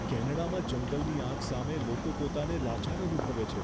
કેનેડામાં જંગલની આગ સામે લોકો પોતાને લાચાર અનુભવે છે.